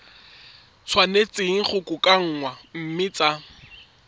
tshwanetse go kokoanngwa mme tsa